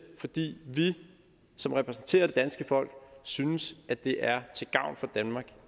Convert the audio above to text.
fordi vi som repræsenterer det danske folk synes at det er til gavn for danmark